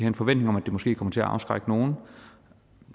en forventning om at det måske kommer til at afskrække nogle